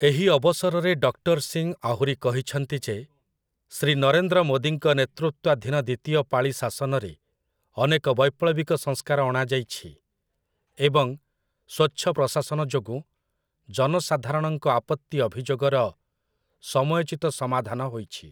ଏହି ଅବସରରେ ଡକ୍ଟର ସିଂ ଆହୁରି କହିଛନ୍ତି ଯେ, ଶ୍ରୀ ନରେନ୍ଦ୍ର ମୋଦୀଙ୍କ ନେତୃତ୍ଵାଧୀନ ଦ୍ଵିତୀୟ ପାଳି ଶାସନରେ ଅନେକ ବୈପ୍ଳବିକ ସଂସ୍କାର ଅଣାଯାଇଛି ଏବଂ ସ୍ଵଚ୍ଛ ପ୍ରଶାସନ ଯୋଗୁଁ ଜନସାଧାରରଣଙ୍କ ଆପତ୍ତି ଅଭିଯୋଗର ସମୟୋଚିତ ସମାଧାନ ହୋଇଛି ।